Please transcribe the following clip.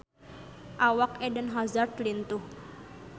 Awak Eden Hazard lintuh